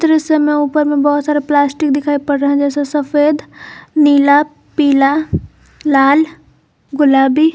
दृश्य में ऊपर में बहुत सारे प्लास्टिक दिखाई पड़ रहे है जैसे सफेद नीला पीला लाल गुलाबी।